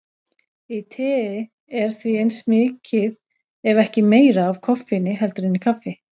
Í tei er því eins mikið ef ekki meira af koffeini heldur en í kaffi.